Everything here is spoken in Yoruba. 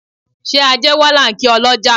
Ṣé ajé wá là ń kí ọlọ́já